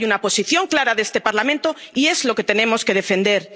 Hay una posición clara de este Parlamento y es lo que tenemos que defender.